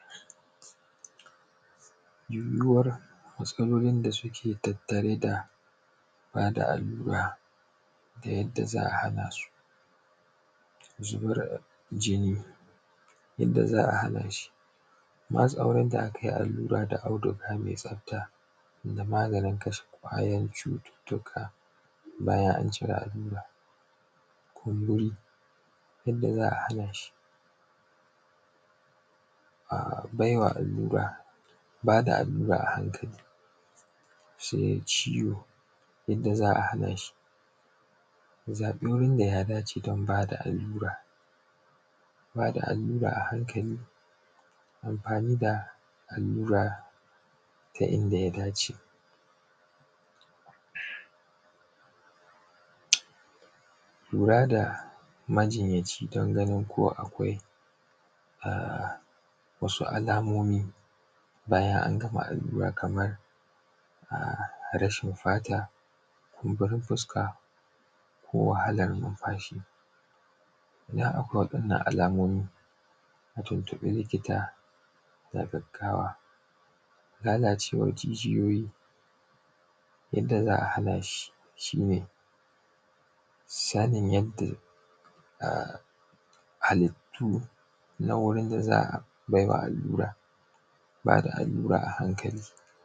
yiwuwar matsalolin da suke tattare da ba da allura da yadda za a hana su zubar jinni yadda za a hana shi matsawar da aka yi allura da auduga mai tsafta da maganin kashe ƙwayan cututtuka bayan an cire allura kumburi yadda za a hana shi a bai wa allura ba da allura a hankali sai ciwo yadda za a hana shi zaɓi wurin da ya dace don ba da allura ba da allura ba da allura a hankali amfani da allura ta inda ya dace lura da majinyaci don ganin ko akwai wasu alamomi bayan an gama allura kamar rashin fata kumburin fuska ko wahalar numfashi idan akwai waɗannan alamomi mu tuntuɓi likita da gaggawa lalacewar jijiyoyi yadda za a hana shi shi ne sanin yadda halittu na wurin da za a bai wa allura ba da allura a hankali